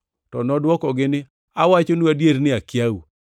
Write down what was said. “To nodwokogi ni, ‘Awachonu adier ni akiau.’